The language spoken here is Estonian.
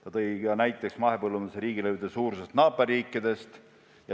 Ta tõi näiteks mahepõllumajanduse riigilõivude suurused naaberriikides.